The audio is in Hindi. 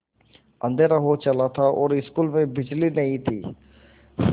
अँधेरा हो चला था और स्कूल में बिजली नहीं थी